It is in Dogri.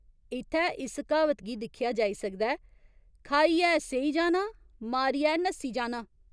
इत्थै इस क्हावत गी दिक्खेआ जाई सकदा ऐ खाइयै सेई जाना, मारियै नस्सी जाना।